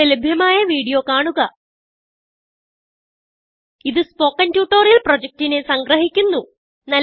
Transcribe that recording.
ഇവിടെ ലഭ്യമായ വീഡിയോ കാണുക ഇതു സ്പോകെൻ ട്യൂട്ടോറിയൽ പ്രൊജക്റ്റിനെ സംഗ്രഹിക്കുന്നു